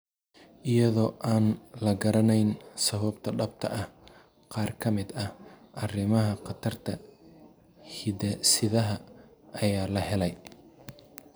Iyadoo aan la garanayn sababta dhabta ah, qaar ka mid ah arrimaha khatarta hidde-sidaha ayaa la helay.